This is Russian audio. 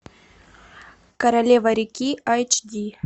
королева реки айч ди